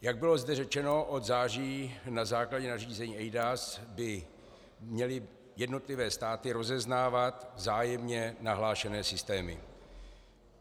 Jak zde bylo řečeno, od září na základě nařízení eIDAS by měly jednotlivé státy rozeznávat vzájemně nahlášené systémy.